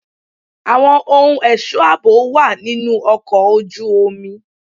Àwọn ohun ẹ̀ṣọ́ àbò wà nínú ọkọ̀ ojú omi.